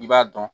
I b'a dɔn